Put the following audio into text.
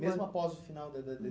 Mesmo após o final da